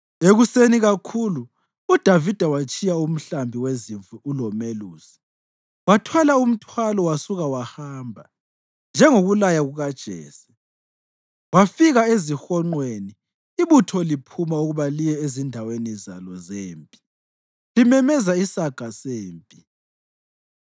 Ekuseni kakhulu uDavida watshiya umhlambi wezimvu ulomelusi, wathwala umthwalo wasuka wahamba, njengokulaya kukaJese. Wafika ezihonqweni ibutho liphuma ukuba liye ezindaweni zalo zempi, limemeza isaga sempi.